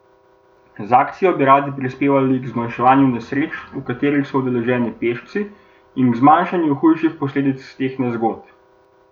Z akcijo bi radi prispevali k zmanjšanju nesreč, v katerih so udeleženi pešci, in k zmanjšanju hujših posledic teh nezgod.